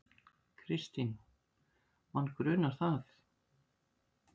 Kristín: Mann grunar það.